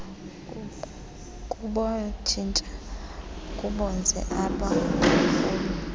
kubatshintsha kubenze abophuli